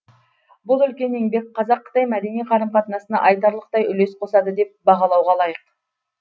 бұл үлкен еңбек қазақ қытай мәдени қарым қатынасына айтарлықтай үлес қосады деп бағалауға лайық